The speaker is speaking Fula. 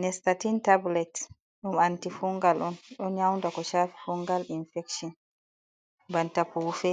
Nestatin tablet, ɗum anti-fungal on. Ɗo nyaunda ko shaafi fungal infekshon. Banta pufe,